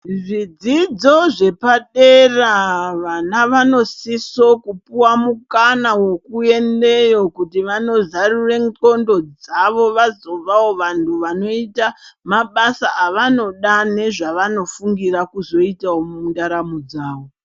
Zvidzidzo zvepadera vana vanosiso kopuwa mukana wekuendeyo kuti vandozarure ndxondo dzavo vazovavo vantu vanoita mabasa avanoda nezva vanofungira kuzoita mundaramo dzavo.